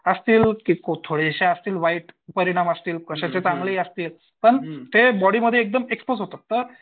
असतील की थोडीशी असतील वाईट परिणाम असतील कशाचे चांगले ही असतील पण ते बॉडीमध्ये एकदम एक्स्पोज होतात तर